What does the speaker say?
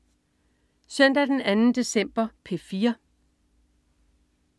Søndag den 2. december - P4: